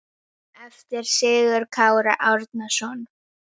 eftir Sigurð Kára Árnason